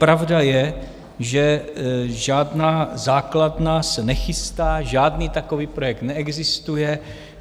Pravda je, že žádná základna se nechystá, žádný takový projekt neexistuje.